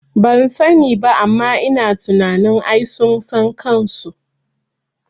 Bansani ba amma ina tunanin ai sun san kanso